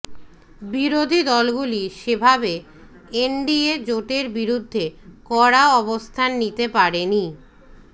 বিরোধী দলগুলি সেভাবে এনডিএ জোটের বিরুদ্ধে কড়া অবস্থান নিতে পারেনি